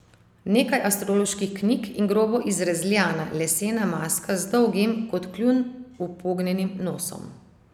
Nekaj astroloških knjig in grobo izrezljana lesena maska z dolgim, kot kljun upognjenim nosom.